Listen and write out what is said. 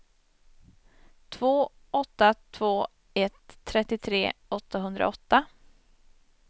två åtta två ett trettiotre åttahundraåtta